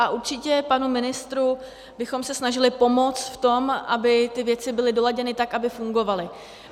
A určitě panu ministru bychom se snažili pomoct v tom, aby ty věci byly doladěny tak, aby fungovaly.